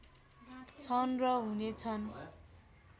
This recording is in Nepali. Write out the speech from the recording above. छन् र हुने छन्